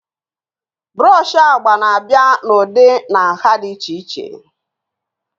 brushes agba na-abịa n'ụdị na nha dị iche iche